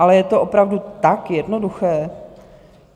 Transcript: Ale je to opravdu tak jednoduché?